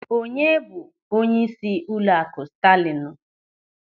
Onye bụ onyeisi ụlọakụ Staalịnụ?